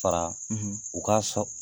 Fara u ka sɔrɔ